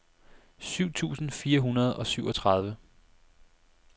syv tusind fire hundrede og syvogtredive